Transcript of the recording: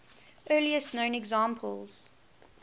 earliest known examples